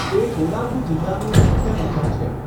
તે કોડાગુ જિલ્લાનું મુખ્ય મથક છે.